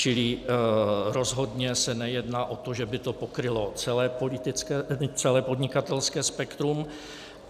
Čili rozhodně se nejedná o to, že by to pokrylo celé podnikatelské spektrum.